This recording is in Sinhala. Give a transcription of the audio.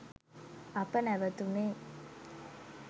අප නැවතුණේ